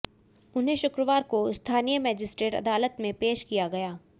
उन्हें शुक्रवार को स्थानीय मजिस्ट्रेट अदालत में पेश किया गया